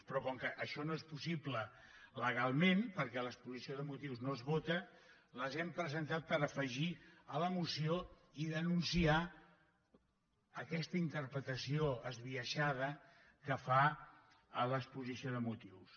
però com que això no és possible legalment perquè l’exposició de motius no es vota les hem presentat per afegir a la moció i denunciar aquesta interpretació esbiaixada que fa a l’exposició de motius